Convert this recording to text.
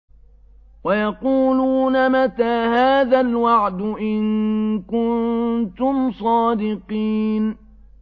وَيَقُولُونَ مَتَىٰ هَٰذَا الْوَعْدُ إِن كُنتُمْ صَادِقِينَ